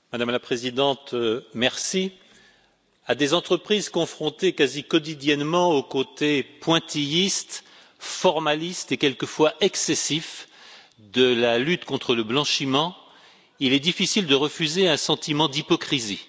Madame la Présidente, à des entreprises confrontées quasi quotidiennement au côté pointilliste formaliste et quelquefois excessif de la lutte contre le blanchiment, il est difficile de refuser un sentiment d'hypocrisie.